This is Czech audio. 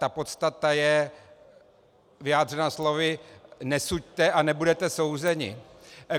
Ta podstata je vyjádřena slovy "nesuďte a nebudete souzeni".